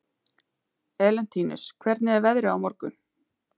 Elentínus, hvernig er veðrið á morgun?